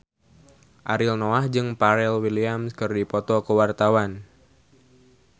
Ariel Noah jeung Pharrell Williams keur dipoto ku wartawan